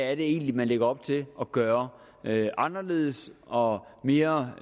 er det egentlig man lægger op til at gøre anderledes og mere